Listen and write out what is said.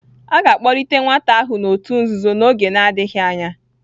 A ga-akpọlite ​​nwata ahụ n'òtù nzuzo n'oge adịghị anya.